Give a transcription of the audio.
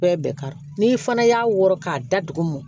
Bɛɛ bɛɛ k'a dɔn n'i fana y'a wɔrɔ k'a da dugumɔn